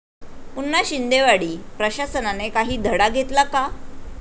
पुन्हा शिंदेवाडी!, प्रशासनाने काही धडा घेतला का?